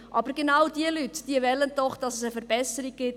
Diese Leute wollen, dass es eine Verbesserung gibt.